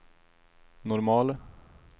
normal